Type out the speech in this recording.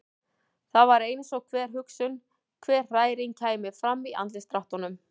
Það var eins og hver hugsun, hver hræring kæmi fram í andlitsdráttunum.